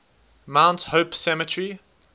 mount hope cemetery